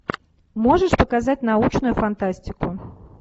можешь показать научную фантастику